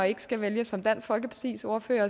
ikke skal vælge som dansk folkepartis ordfører